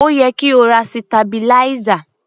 Ó yẹ kí o ra sitabiláísà.